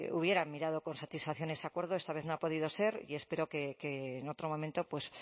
hubieran mirado con satisfacción ese acuerdo esta vez no ha podido ser y espero que en otro momento pues